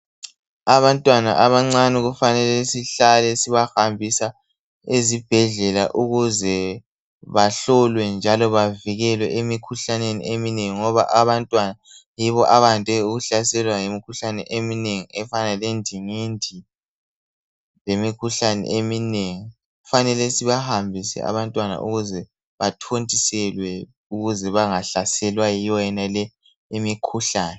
Abantwana abancane kufanele sihlale sibahambisa ezibhedlela ukuze bahlolwe njalo bavikelwe emikhuhlaneni eminengi ngoba abantwana yibo abande ukuhlaselwa yimikhuhlane eminengi efana lendingindi lemikhuhlane eminengi Kufanele sibahambise abantwana ukuze bathontiselwe ukuze bangahlaselwa yiyo yonale imikhuhlane